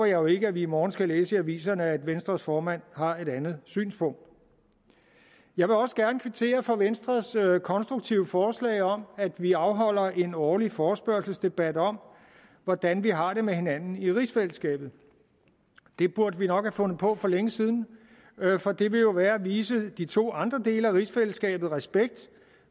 jo ikke at vi i morgen skal læse i aviserne at venstres formand har et andet synspunkt jeg vil også gerne kvittere for venstres konstruktive forslag om at vi afholder en årlig forespørgselsdebat om hvordan vi har det med hinanden i rigsfællesskabet det burde vi nok have fundet på for længe siden for det vil jo være at vise de to andre dele af rigsfællesskabet respekt